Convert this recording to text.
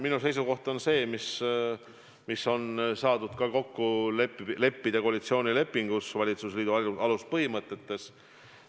Minu seisukoht on see, mis on kokku lepitud koalitsioonilepingus, valitsusliidu aluspõhimõtetes.